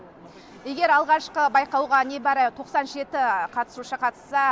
егер алғашқы байқауға небәрі тоқсан жеті қатысушы қатысса